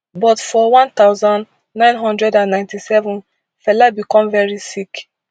but for one thousand, nine hundred and ninety-seven fela become very sick